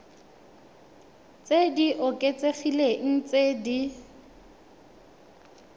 tse di oketsegileng tse di